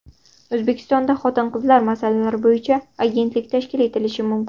O‘zbekistonda xotin-qizlar masalalari bo‘yicha agentlik tashkil etilishi mumkin.